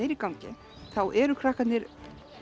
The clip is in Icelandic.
er í gangi þá eru krakkarnir